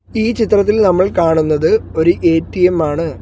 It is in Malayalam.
ഈ ചിത്രത്തിൽ നമ്മൾ കാണുന്നത് ഒരു എ_ടി_എം ആണ്.